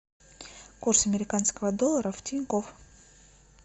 курс американского доллара в тинькофф